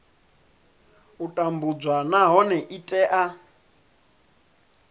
u tambudzwa nahone i tea